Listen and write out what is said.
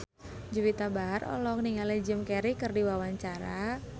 Juwita Bahar olohok ningali Jim Carey keur diwawancara